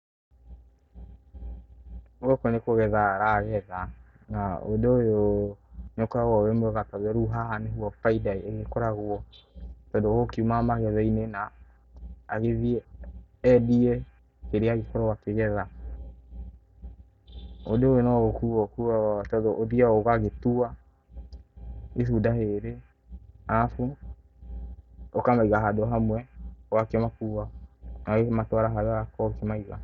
Gũkũ nĩ kũgetha aragetha na ũndũ ũyũ nĩ ũkoragwo wĩ mwega tondũ rĩu haha nĩho baida ĩgĩkoragwo, tondũ ũgũkiuma magetha-inĩ na agĩthiĩ endie kĩrĩa agĩkorwo akĩgetha. Ũndũ ũyũ no gũkuo ũkuagwo tondũ ũthiaga ũgagĩtua itunda rĩrĩ, arabu ũkamaiga handũ hamwe, ũgakĩmakua ũgakĩmatwara harĩa ũrakorwo ũkĩmaiga.